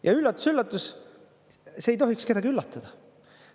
Ja üllatus-üllatus, see ei tohiks kedagi üllatada.